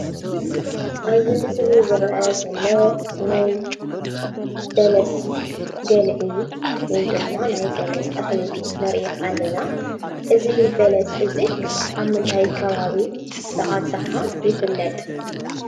አብዚ ምስሊ ዝረአ ዘሎ ናይ በለስ ገልዒ ወይ ድማ ናይ በለስ ተኽሊ ንሪኢ አለና:: እዚ በለስ እዚ አብ ምንታይ ከባቢ ብአብዝሓ ይፍለጥ?